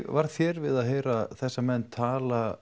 varð þér við að heyra þessa menn tala